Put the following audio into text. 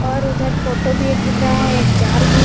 और उधर फोटो भी एक दिख रहा है एक जार भी।